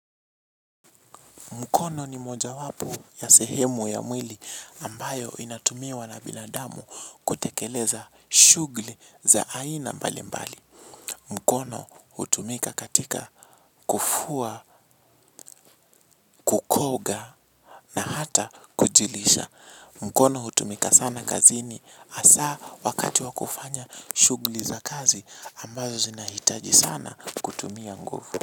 Mkono ni mmoja wapo ya sehemu ya mwili ambayo inatumiwa na binadamu kutekeleza shuguli za aina mbali mbali. Mkono hutumika katika kufua, kukoga na hata kujilisha. Mkono hutumika sana kazini asaa wakati wa kufanya shugli za kazi ambayo zinahitaji sana kutumia nguvu.